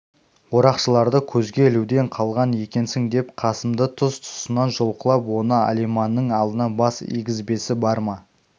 орақшыларды көзге ілуден қалған екенсің деп қасымды тұс-тұсынан жұлқылап оны алиманның алдына бас игізбесі бар ма